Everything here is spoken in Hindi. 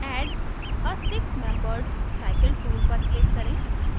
add a six membered cycle tool पर click करें